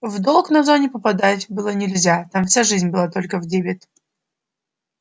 в долг на зоне попадать было нельзя там вся жизнь была только в дебет